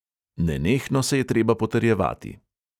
Nenehno se je treba potrjevati.